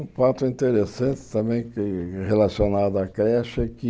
Um fato interessante também relacionado à creche é que